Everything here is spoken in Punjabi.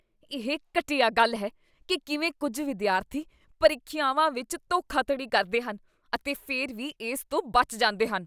ਇਹ ਘਟੀਆ ਗੱਲ ਹੈ ਕੀ ਕਿਵੇਂ ਕੁੱਝ ਵਿਦਿਆਰਥੀ ਪ੍ਰੀਖਿਆਵਾਂ ਵਿੱਚ ਧੋਖਾਧੜੀ ਕਰਦੇ ਹਨ ਅਤੇ ਫਿਰ ਵੀ ਇਸ ਤੋਂ ਬਚ ਜਾਂਦੇ ਹਨ।